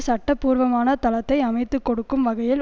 சட்டபூர்வமான தளத்தை அமைத்து கொடுக்கும் வகையில்